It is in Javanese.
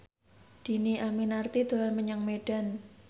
Dhini Aminarti dolan menyang Medan